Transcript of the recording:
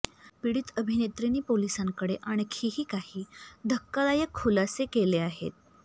पीडित अभिनेत्रींनी पोलिसांकडे आणखीही काही धक्कादायक खुलासे केले आहेत